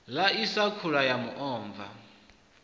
ḽaisa khula ya muomva wa